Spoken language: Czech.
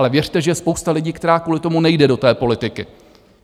Ale věřte, že je spousta lidí, která kvůli tomu nejde do té politiky.